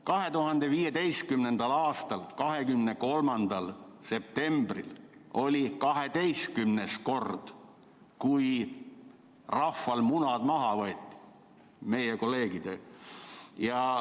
2015. aasta 23. septembril oli 12. kord, kui rahval munad maha võeti, meie kolleegidel.